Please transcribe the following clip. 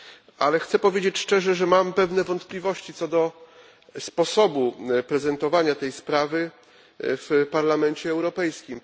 Chciałbym jednak powiedzieć szczerze, że mam pewne wątpliwości co do sposobu prezentowania tej sprawy w Parlamencie Europejskim.